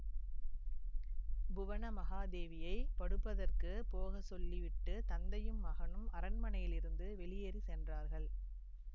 புவனமகாதேவியைப் படுப்பதற்குப் போக சொல்லி விட்டு தந்தையும் மகனும் அரண்மனையிலிருந்து வெளியேறி சென்றார்கள்